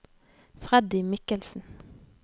Freddy Michelsen